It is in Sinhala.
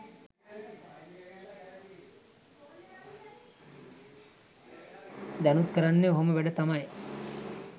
දැනුත් කරන්නෙ ඔහොම වැඩ තමයි.